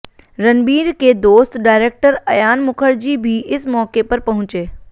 रणबीर के दोस्त डायरेक्टर अयान मुखर्जी भी इस मौके पर पहुंचे